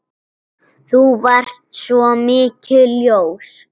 Þú varst svo mikið ljós.